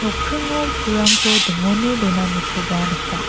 nokkingo pulrangko dingone donanikoba nika.